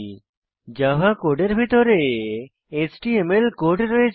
Java কোডের ভিতরে HTML code রয়েছে